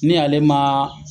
Ni ale ma